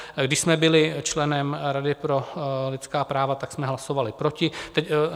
Když jsme byli členem Rady pro lidská práva, tak jsme hlasovali proti.